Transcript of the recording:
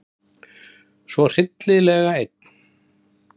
Svo hryllilega einn.